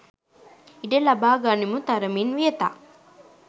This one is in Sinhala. ඉඩ ලබා ගනිමු තරමින් වියතක්.